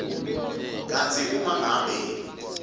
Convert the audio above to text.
kantsi uma ngabe